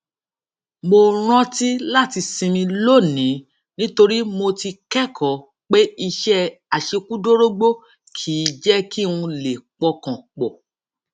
mo rántí láti sinmi lónìí nítorí mo ti kékòó pé iṣé àṣekúdórógbó kì í jé kí n lè pọkàn pò